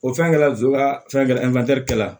O fɛn kɛla zon ka fɛn gɛ la kɛ la